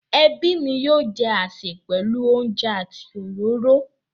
Ẹbí mi yóò jẹ àsè pẹ̀lú oúnjẹ àti òróró.